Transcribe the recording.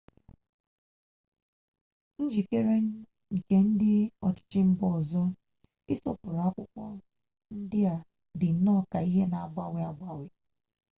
njikere nke ndị ọchịchị mba ndị ọzọ ịsọpụrụ akwụkwọ ndị a dị nnọọ ka ihe na-agbanwe agbanwe